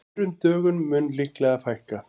Þurrum dögum mun líklega fækka